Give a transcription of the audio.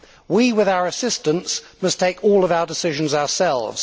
We, with our assistants, must take all of our decisions ourselves.